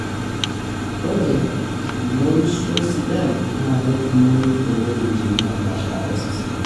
ore imorioshi sidan na ketumoyu toweujitin napaasha osesen.